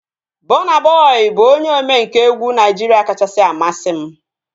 Bọna Bọi bụ onye omenkà egwu Naijiria kachasị amasị m